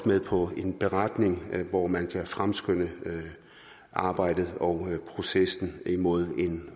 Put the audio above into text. med på en beretning hvor man kan fremskynde arbejdet og processen imod en